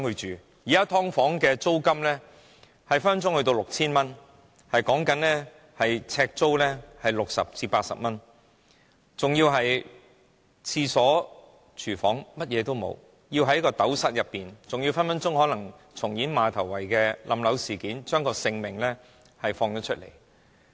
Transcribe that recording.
現時"劏房"的租金動輒高達 6,000 元，呎租是60元至80元，更沒有廁所、廚房等設施，生活起居所需全在斗室內解決，更時刻會重演馬頭圍塌樓事件，生命毫無保障。